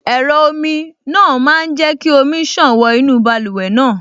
Ẹ̀rọ omi náà máa jẹ́ kí omi ṣàn wọ inú báluwẹ̀ náà